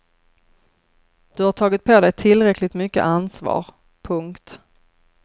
Du har tagit på dig tillräckligt mycket ansvar. punkt